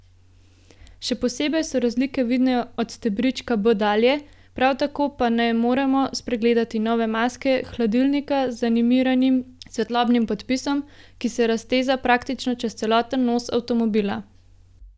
Še posebej so razlike vidne od stebrička B dalje, prav tako pa ne moremo spregledati nove maske hladilnika z animiranim svetlobnim podpisom, ki se razteza praktično čez celoten nos avtomobila.